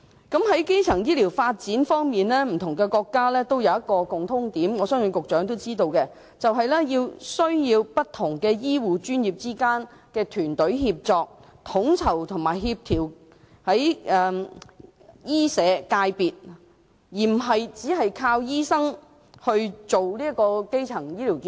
在基層醫療的發展方面，不同國家皆有一個共通點，我相信局長也知道，便是不同醫護專業之間的團隊協作，統籌和協調醫社界別，而非單靠醫生推動基層醫療健康。